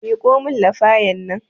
Miƙo min lafayan nan